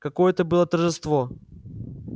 какое это было торжество